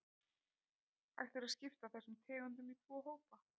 Hægt er að skipta þessum tegundum í tvo hópa.